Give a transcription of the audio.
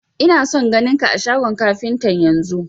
Ina son ganin ka a shagon kafintan yanzun!